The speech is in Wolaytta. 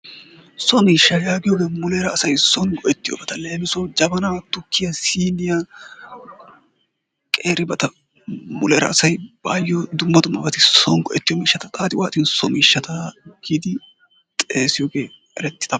So miishsha giyooge muleera asay soon go'ettiyoobata. leemissuwaw jabana, tukkiya sinniya qeeribata muleera asay baayyo dumma dummabata soon go'etiyoobata xaaxxi waaxxin so miishshata giidi xessiyooge erettidaaba.